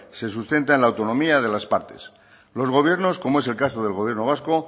se sustenta en la autonomía de las partes los gobiernos como es el caso del gobierno vasco